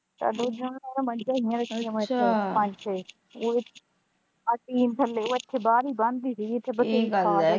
ਆਹ ਟੀਨ ਥੱਲੇ ਉੱਥੇ ਬਾਹਰ ਹੀ ਬਹਿੰਦੀ ਸੀ